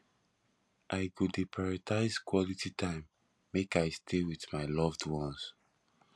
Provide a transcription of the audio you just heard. i go dey prioritize quality time make i stay with my loved ones